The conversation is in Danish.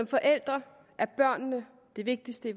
forældre er børn det vigtigste i